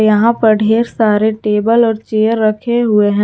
यहां पर ढेर सारे टेबल और चेयर रखे हुए हैं।